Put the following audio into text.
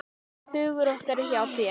Hugur okkar er hjá þér.